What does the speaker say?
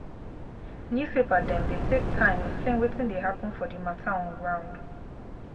newspaper dem dey take time xplain wetin dey happen for di mata on ground.